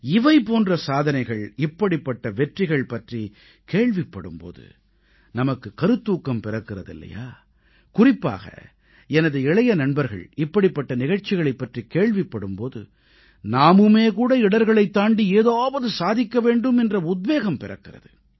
இவை போன்ற சாதனைகள் இப்படிப்பட்ட வெற்றிகள் பற்றிக் கேள்விப்படும் போது நமக்கு கருத்தூக்கம் பிறக்கிறது இல்லையா குறிப்பாக எனது இளைய நண்பர்கள் இப்படிப்பட்ட நிகழ்ச்சிகளைப் பற்றிக் கேள்விப்படும் போது நாமுமே கூட இடர்களைத் தாண்டி ஏதாவது சாதிக்க வேண்டும் என்ற உத்வேகம் பிறக்கிறது